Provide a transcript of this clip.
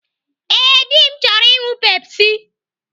Ee, dị m chọrọ ịṅụ Pepsi.